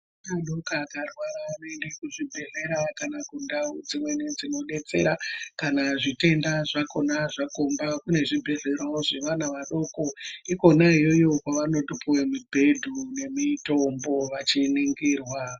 Ana adoko akarwara anoende kuzvibhedhlera kana kundau dzimweni dzinodetsera. Kana zvitenda zvakona zvakomba, kune zvibhedhlerawo zvevana vadoko. Ikona iyoyo kwavanotopuwe mibhedhu nemitombo vachiningirwa.